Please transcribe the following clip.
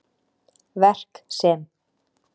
Verk sem